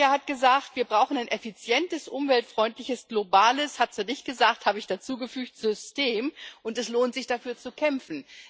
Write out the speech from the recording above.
Merja hat gesagt Wir brauchen ein effizientes, umweltfreundliches, globales globales hat sie nicht gesagt, das habe ich hinzugefügt System, und es lohnt sich, dafür zu kämpfen.